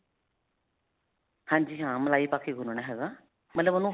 ਹਾਂਜੀ ਹਾਂ. ਮਲਾਈ ਪਾ ਕੇ ਗੂਣਨਾ ਹੈਗਾ ਮਤਲਬ ਉਹਨੂੰ